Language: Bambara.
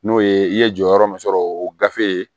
N'o ye i ye jɔyɔrɔ min sɔrɔ o gafe